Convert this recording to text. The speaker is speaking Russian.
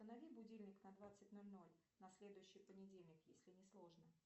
установи будильник на двадцать ноль ноль на следующий понедельник если не сложно